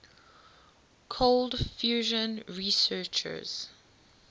cold fusion researchers